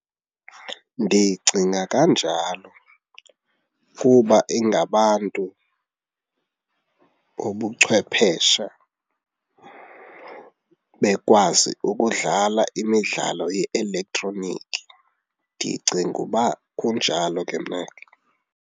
Ndicinga kanjalo kuba ingabantu bobucwephesha bekwazi ukudlala imidlalo ye-elektroniki. Ndicinga uba kunjalo ke mna ke.